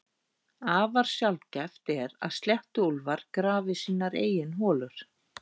Afar sjaldgæft er að sléttuúlfar grafi sínar eigin holur.